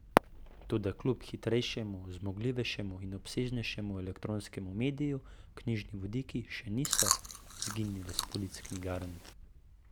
Toda kljub hitrejšemu, zmogljivejšemu in obsežnejšemu elektronskemu mediju knjižni vodniki še niso izginile s polic knjigarn.